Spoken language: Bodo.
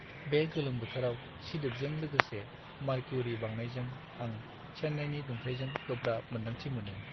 बे गोलोम बोथोराव सिदोबजों लोगोसे मारक्युरि बांनायजों आं चेन्नाईनि दुंथाइजों गोब्राब मोनदांथि मोनो।